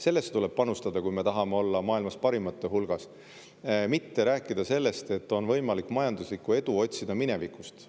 Sellesse tuleb panustada, kui me tahame olla maailmas parimate hulgas, mitte rääkida sellest, et on võimalik majanduslikku edu otsida minevikust.